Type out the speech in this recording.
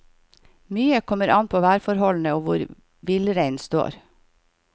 Mye kommer an på værforholdene og hvor villreinen står.